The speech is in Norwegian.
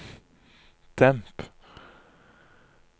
demp